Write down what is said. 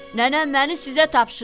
Nənəm məni sizə tapşırıb.